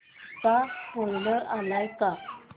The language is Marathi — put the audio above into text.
चा स्पोईलर आलाय का